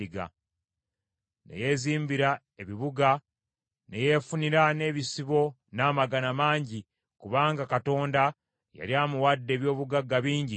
Ne yeezimbira ebibuga, ne yeefunira n’ebisibo n’amagana mangi, kubanga Katonda yali amuwadde eby’obugagga bingi nnyo nnyini.